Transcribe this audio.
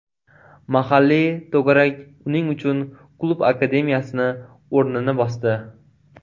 Mahalliy to‘garak uning uchun klub akademiyasi o‘rnini bosdi.